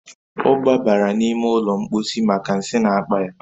O gbabara n'ime ụlọ mposi maka nsi n’akpa ya